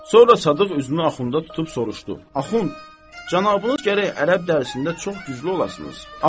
Sonra Sadıq üzünü Axunda tutub soruşdu: Axund cənabınız gərək ərəb dərsində çox güclü olasınız.